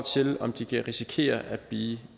til om de kan risikere at blive